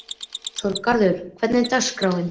Þorgarður, hvernig er dagskráin?